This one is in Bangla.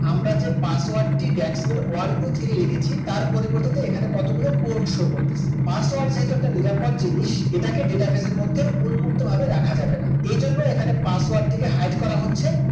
আমরা যে password টি that's mean one two three লিখেছি তার পরিবর্তে এখানে কতগুলি codeshow করতেছে password যেটাতে নিরাপদ জিনিস এটাকে database র মধ্যে উন্মুক্ত ভাবে রাখা যাবে না এজন্য এখানে password টি কে hide করা হচ্ছে